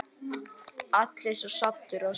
Allir svo saddir og svona.